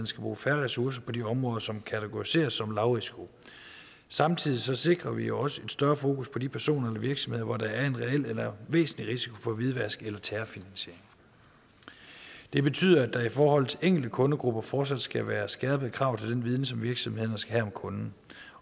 skal bruge færre ressourcer på de områder som kategoriseres som lavrisiko samtidig sikrer vi jo også et større fokus på de personer eller virksomheder hvor der er en reel eller væsentlig risiko for hvidvask eller terrorfinansiering det betyder at der i forhold til enkelte kundegrupper fortsat skal være skærpede krav til den viden som virksomhederne skal have om kunden